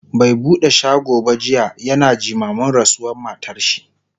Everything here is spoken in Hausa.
bai buɗe shago ba jiya, yana jimamin rasuwar matarshi